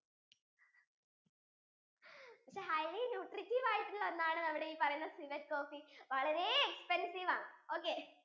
highly nutricious ആയിട്ടുള്ള ഒന്നാണ് ഈ പറയുന്ന civet coffee വളരെ expensive ആണ് okay